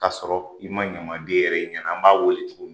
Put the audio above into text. Ka sɔrɔ i ma ɲamaden yɛrɛ ye i ɲɛna ,an b'a wele cogo di?